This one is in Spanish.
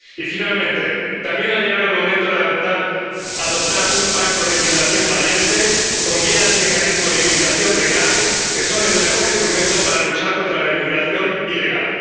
Y, finalmente, también ha llegado el momento de adoptar un pacto de inmigración valiente, con vías y mecanismos de inmigración legal, que son el mejor instrumento para luchar contra la inmigración ilegal.